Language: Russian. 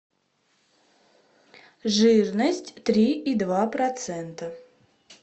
жирность три и два процента